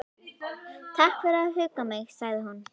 Takk fyrir að hugga mig- sagði hún.